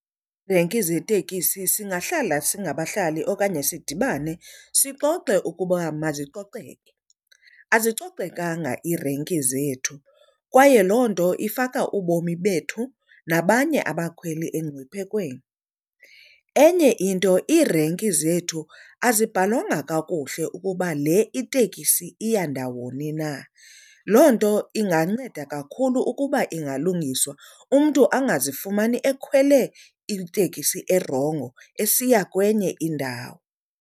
Iirenki zeeteksi singahlala singabahlali okanye sidibane sixoxe ukuba mazicoceke. Azicocekanga iirenki zethu kwaye loo nto ifaka ubomi bethu nabanye abakhweli engciphekweni. Enye into iirenki zethu azibhalwanga kakuhle ukuba le itekisi iya ndawoni na. Loo nto inganceda kakhulu ukuba ingalungiswa, umntu angazifumani ekhwele itekisi erongo esiya kwenye indawo.